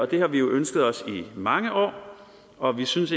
det har vi jo ønsket os i mange år og vi synes